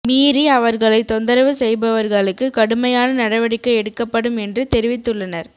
மீறி அவர்களை தொந்தரவு செய்பவர்களுக்கு கடுமையான நடவடிக்கை எடுக்கப்படும் என்று தெரிவித்துள்ளனர்